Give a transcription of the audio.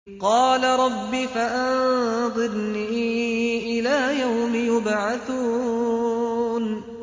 قَالَ رَبِّ فَأَنظِرْنِي إِلَىٰ يَوْمِ يُبْعَثُونَ